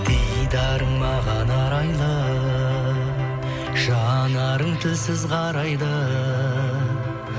дидарың маған арайлы жанарың тілсіз қарайды